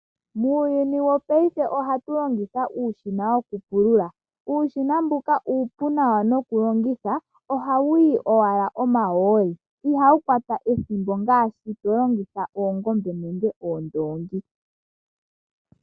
Muuyuni wopaife ohatu longitha uushina woku pulula. Uushina mboka uupu nawa noku longitha, ohawu yi owala omahooli. Ihawu kwata ethimbo ngaashi to longitha oongombe nenge oondoongi.